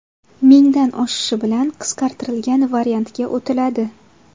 Mingdan oshishi bilan qisqartirilgan variantga o‘tiladi.